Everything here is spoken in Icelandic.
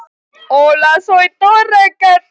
Og þar sat Katrín.